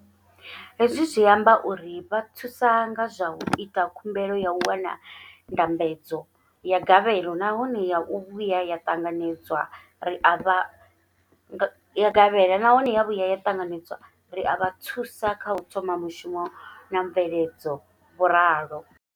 Hezwi zwi amba uri ri vha thusa nga zwa u ita khumbelo ya u wana ndambedzo ya gavhelo nahone ya vhuya ya ṱanganedzwa, ri a vha thusa kha u thoma mushumo na mveledzo, vho ralo.